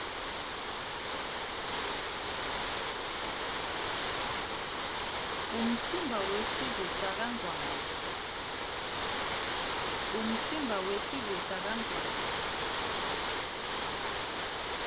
umtsimba wesive sakangwane